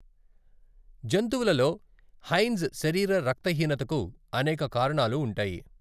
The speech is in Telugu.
జంతువులలో, హైన్జ్ శరీర రక్తహీనతకు అనేక కారణాలు ఉంటాయి.